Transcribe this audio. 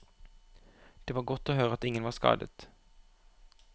Det var godt å høre at ingen var skadet.